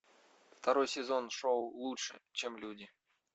второй сезон шоу лучше чем люди